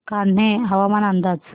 कान्हे हवामान अंदाज